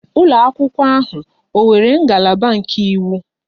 Ụlọ akwụkwọ ahụ ọ nwere ngalaba nke iwu?